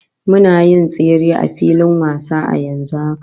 Muna yin tsere a filin wasa a yanzu haka